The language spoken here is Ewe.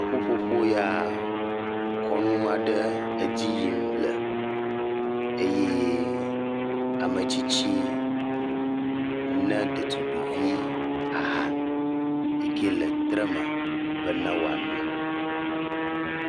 Ƒuƒoƒo ya kɔnu aɖe le edzi yim le eye ametsitsi ne ɖetugbivi aha yi ke le tre me be woano.